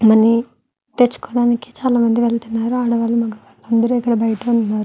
Money తెచ్చుకోడానికి చాలా మంది వెళ్తున్నారు ఆడవాళ్ళూ మగవారు అందరు ఇక్కడ బయట ఉన్నారు.